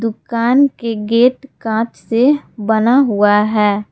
दुकान के गेट कांच से बना हुआ है।